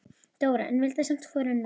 Dóra, en vildi samt hvorugan missa.